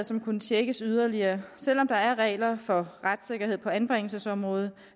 som kunne tjekkes yderligere selv om der er regler for retssikkerhed på anbringelsesområdet